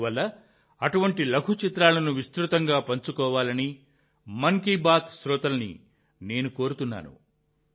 అందువల్ల అటువంటి లఘు చిత్రాలను విస్తృతంగా పంచుకోవాలని మన్ కీ బాత్ శ్రోతలను నేను కోరుతున్నాను